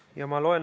Urve Tiidus, palun!